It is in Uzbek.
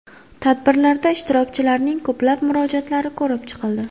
Tadbirlarda ishtirokchilarning ko‘plab murojaatlari ko‘rib chiqildi.